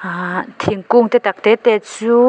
ahh thingkung te tak te te chu